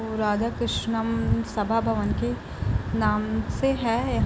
वो राधाकृष्णन सभा भवन के नाम से है।